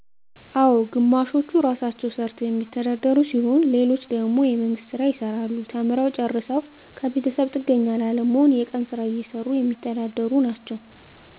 አሉ ግማሾቹ ራሳቸዉ ሰርተዉ የሚተዳደሩ ሲሆኑ ሌሎች ደግሞ የመንግስት ስራ ይሰራሉ ተምረዉ ጨርሰዉ ከቤተሰብ ጥገኛ ላለመሆን የቀን ስራ እየሰሩ የሚተዳደሩ ናቸዉ